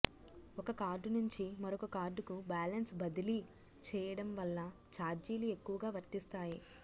ఒక కార్డు నుంచి మరొక కార్డుకు బ్యాలెన్సు బదిలీ చేయడం వల్ల ఛార్జీలు ఎక్కవగా వర్తిస్తాయి